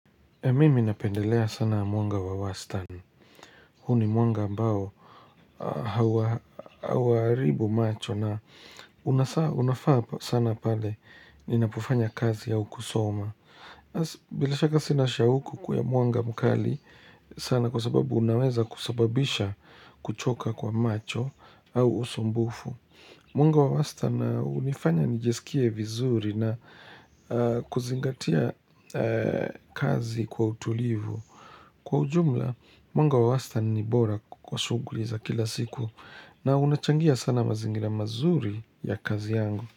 Mimi napendelea sana mwanga wa Western. Huni mwanga ambao hawaaribu macho na unafaa sana pale ninapofanya kazi au kusoma. Bila shaka sina shauku mwanga mkali sana kwa sababu unaweza kusababisha kuchoka kwa macho au usumbufu. Muungo wa western unifanya nijisikie vizuri na kuzingatia kazi kwa utulivu. Kwa ujumla, muungo wa western ni bora kwa shughuli za kila siku na unachangia sana mazingira mazuri ya kazi yangu.